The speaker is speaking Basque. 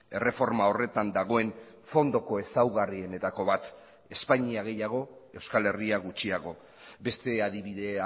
erreforma horretan dagoen fondoko ezaugarrienetako bat espainia gehiago euskal herria gutxiago beste adibide